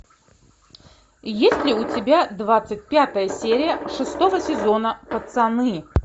есть ли у тебя двадцать пятая серия шестого сезона пацаны